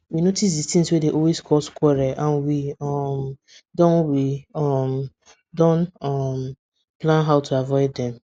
we notice the things wey dey always cause quarrel and we um don we um don um plan how to avoid dem